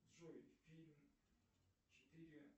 джой фильм четыре